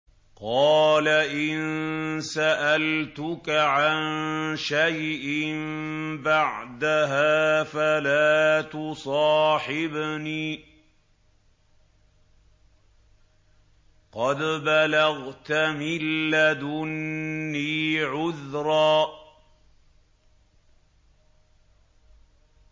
قَالَ إِن سَأَلْتُكَ عَن شَيْءٍ بَعْدَهَا فَلَا تُصَاحِبْنِي ۖ قَدْ بَلَغْتَ مِن لَّدُنِّي عُذْرًا